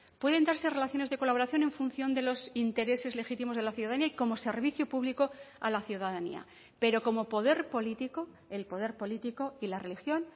pueden darse relaciones de colaboración en función de los intereses legítimos de la ciudadanía y como servicio público a la ciudadanía pero como poder político el poder político y la religión